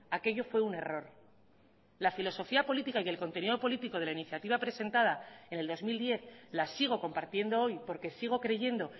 aquello fue un error la filosofía política y el contenido político de la iniciativa presentada en el dos mil diez la sigo compartiendo hoy porque sigo creyendo